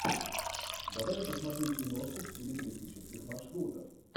давай я посмотрю киношку в стиле туристических маршрутов